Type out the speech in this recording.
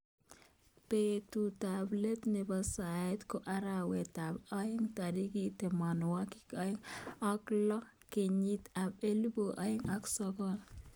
Betut ab let nebo saet ko arawet ab aeng tarik tamanwakik aeng ak lo kenyit ab elibu aeng ak sokol.